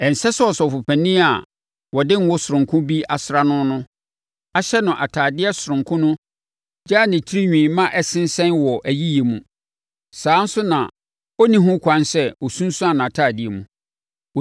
“ ‘Ɛnsɛ sɛ ɔsɔfopanin a wɔde ngo sononko bi asra no ahyɛ no atadeɛ sononko no gyaa ne tirinwi ma ɛsensɛn wɔ ayiyɛ mu. Saa ara nso na ɔnni ho kwan sɛ ɔsunsuane nʼatadeɛ mu.